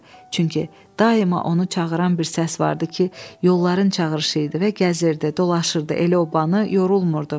Çünki daima onu çağıran bir səs vardı ki, yolların çağırışı idi və gəzirdi, dolaşırdı, elə obanı yorulmurdu.